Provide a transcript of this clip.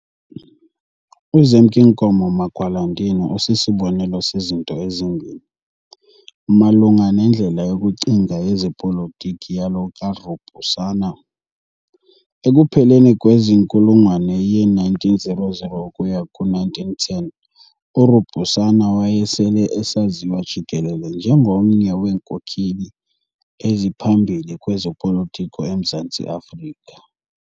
UZemk'Inkomo Magwalandini usisibonelo sezinto ezimbini, malunga nendlela yokucinga yezepolitiki yalo kaRubusana. Ekupheleni kwenkulungwane ye-1900 ukuya ku-1910, uRubusana wayesele esaziwa jikelele njengomnye weenkokheli eziphambili kwezopolitiko eMzantsi Afrika.